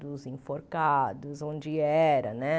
Dos enforcados, onde era, né?